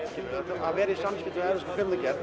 að vera í samskiptum við evrópska kvikmyndagerð